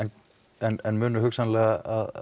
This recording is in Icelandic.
en munu hugsanlega